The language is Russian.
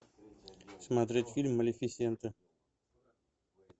смотреть фильм малефисента